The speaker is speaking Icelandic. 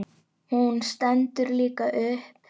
Hún stendur líka upp.